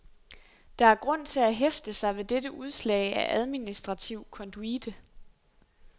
Der er grund til at hæfte sig ved dette udslag af administrativ konduite.